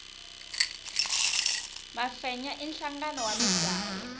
mafenya i nhlangano wa misawu